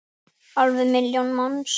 Alveg milljón manns!